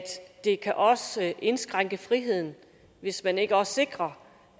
det også kan indskrænke friheden hvis man ikke også sikrer